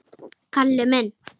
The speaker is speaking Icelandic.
Kalli minn!